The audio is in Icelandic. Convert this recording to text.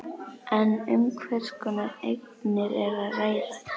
En um hvers konar eignir er að ræða?